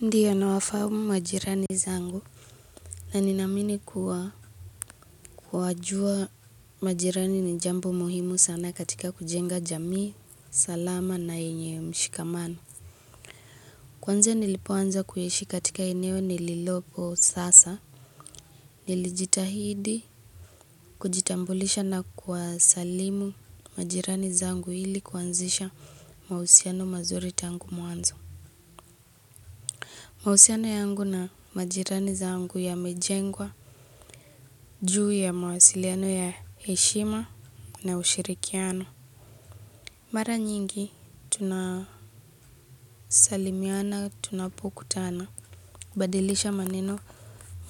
Ndiyo nawafahamu majirani zangu na ninaamini kuwa kuwajua majirani ni jambo muhimu sana katika kujenga jamii, salama na yenye mshikamano. Kuanzia nilipoanza kuishi katika eneo nililopo sasa. Nilijitahidi, kujitambulisha na kuwasalimu majirani zangu ili kuanzisha mahusiano mazuri tangu mwanzo. Mahusiano yangu na majirani zangu ya mejengwa, juu ya mawasiliano ya heshima na ushirikiano. Mara nyingi, tunasalimiana, tunapo kutana. Badilisha maneno,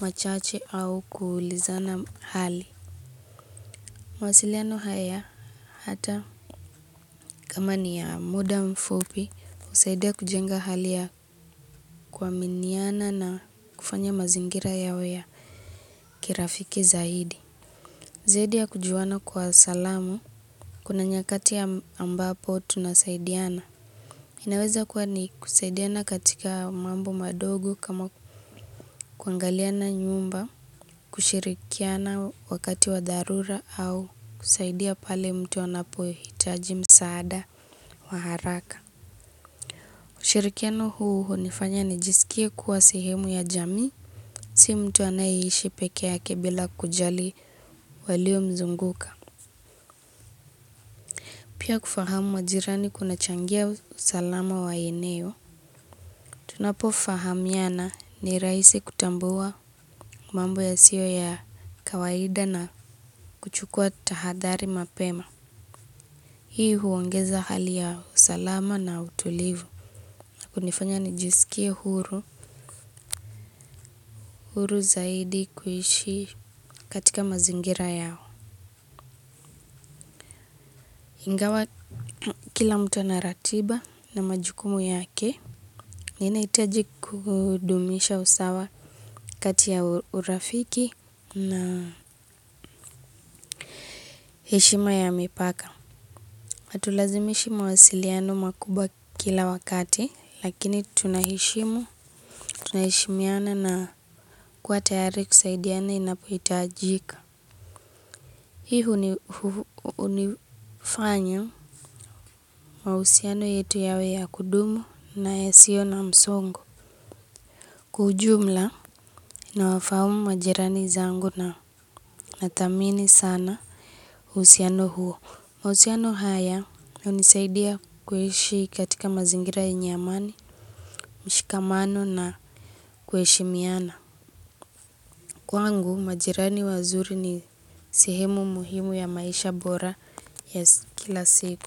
machache au kuulizana hali. Mawasiliano haya hata kama ni ya muda mfupi, husaidia kujenga hali ya kuaminiana na kufanya mazingira yawe ya kirafiki zaidi. Zaidi ya kujuana kwa salamu, kuna nyakati ambapo tunasaidiana. Inaweza kuwa ni kusaidiana katika mambo madogo kama kuangaliana nyumba, kushirikiana wakati wa dharura au kusaidia pale mtu anapo hitaji msaada wa haraka. Ushirikiano huu hunifanya nijisikie kuwa sehemu ya jamii, si mtu anayeishi peke yake bila kujali waliomzunguka. Pia kufahamu majirani kunachangia usalama wa eneo. Tunapo fahamiana ni rahisi kutambua mambo yasiyo ya kawaida na kuchukua tahadhari mapema. Hii huongeza hali ya usalama na utulivu. Hunifanya nijisikie huru, huru zaidi kuishi katika mazingira yao. Ingawa kila mtu ana ratiba na majukumu yake, ninahitaji kudumisha usawa kati ya urafiki na heshima ya mipaka. Hatulazimishi mawasiliano makubwa kila wakati, lakini tunaheshimu, tunaheshimiana na kuwa tayari kusaidiana inapohitajika. Hii hunifanyi mahusiano yetu yawe ya kudumu na yasio na msongo. Kwa ujumla nawafahamu majirani zangu na nathamini sana uhusiano huo. Mauhusiano haya hunisaidia kuishi katika mazingira yenye amani, mshikamano na kuheshimiana. Kwangu majirani wazuri ni sehemu muhimu ya maisha bora ya kila siku.